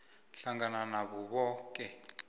hlangana nabo boke